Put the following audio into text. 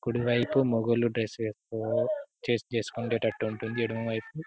కుడివైపు మొగోలు డ్రెస్ వేసుకునే చేంజ్ చేసుకునే తట్టు ఉంటుంది ఎడమవైపు --.